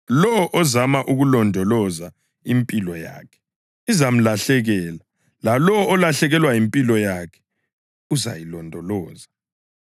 Lowo ozama ukulondoloza impilo yakhe izamlahlekela, lalowo olahlekelwa yimpilo yakhe uzayilondoloza.